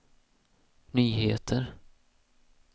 nyheter